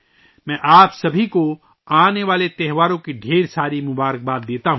میں آپ سبھی کو آنے والے تہواروں کی بہت بہت مبارکباد دیتا ہوں